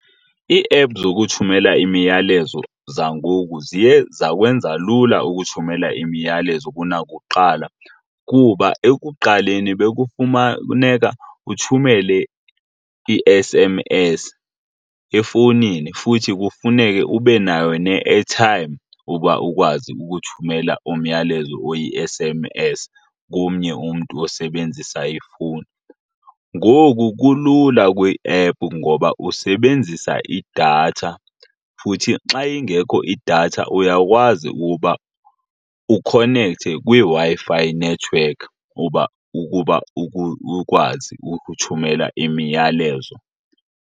Iiephu zokuthumela imiyalezo zangoku ziye zakwenza lula ukuthumela imiyalezo kunakuqala kuba ekuqaleni uthumele i-S_M_S efowunini, futhi kufuneke ube nayo ne-airtime uba ukwazi ukuthumela umyalezo oyi-S_M_S komnye umntu osebenzisa ifowuni. Ngoku kulula kwiiephu ngoba usebenzisa idatha, futhi xa ingekho idatha uyakwazi ukuba ukhonekthe kwiWi-Fi network ukuba ukwazi ukuthumelela imiyalezo.